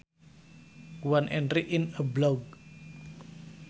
One entry in a blog